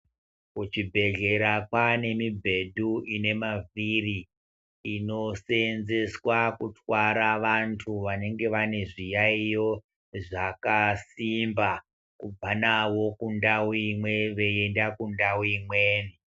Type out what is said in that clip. Kuchibhedhlera kwane mibhedhu ine mavhiri inosenzeswa kutwara vantu vanenge vane zviyaiyo zvakasimba kubva nawo kundau imweni veienda kundau imweni.